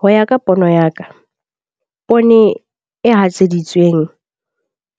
Ho ya ka pono ya ka poone e hatseditsweng